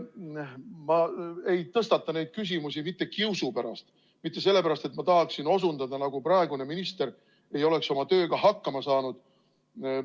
Ma ei tõstata neid küsimusi mitte kiusu pärast, mitte sellepärast, et ma tahaksin osutada, nagu praegune minister ei oleks oma tööga hakkama saanud.